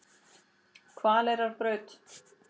Hvaleyrarbraut